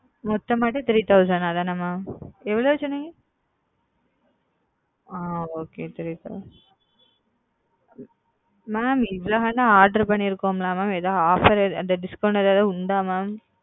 மொத்தமாட்டி three thousand தானா mam எவ்வளவு சொன்னீங்க அ okay okay mam இவளோ order பண்ணிருக்கோம்ல ஏதாது offer discount ஏதாது உண்டா mam?